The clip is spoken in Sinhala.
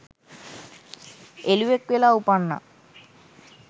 එළුවෙක් වෙලා උපන්නා.